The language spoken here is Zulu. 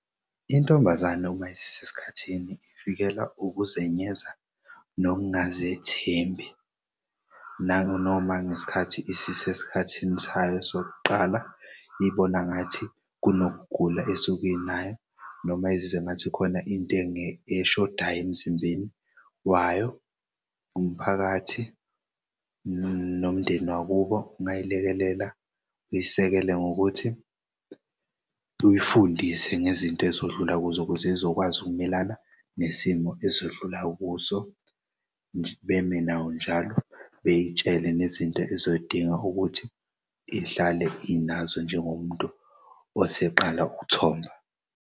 Intombazane uma isises'khathini ifikelwa ukuzenyenza nokungazethembi nanoma ngesikhathi isises'khathini sayo sokuqala ibona ngathi kunokugula esuke enayo noma ezize ngathi khona into eshodayo emzimbeni wayo. Umphakathi nomndeni wakuyo ungayilekelela uyisekele ngokuthi uy'fundise ngezinto ezodlula kuzo ukuze izokwazi ukumelana nesimo ezodlula kuso. Beme nayo njalo bey'tshele nezinto ezoyidinga ukuthi ihlale inazo njengomuntu oseqala ukuthomba.